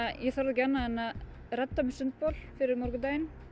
ég þorði ekki annað en að redda sundbol fyrir morgundaginn